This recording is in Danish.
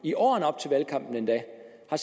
at